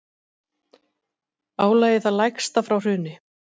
Álagið það lægsta frá hruni